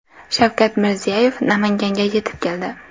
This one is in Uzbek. Shavkat Mirziyoyev Namanganga yetib keldi.